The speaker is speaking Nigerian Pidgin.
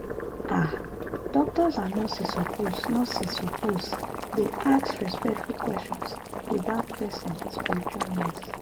ah doctors and nurses suppose nurses suppose dey ask respectful questions about person spiritual needs.